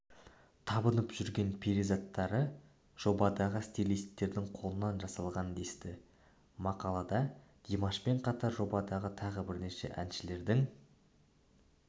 табынып жүрген перизаттары жобадағы стилисттердің қолынан жасалған десті мақалада димашпен қатар жобадағы тағы бірнеше әншілердің